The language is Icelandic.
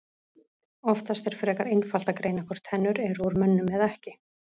Oftast er frekar einfalt að greina hvort tennur eru úr mönnum eða ekki.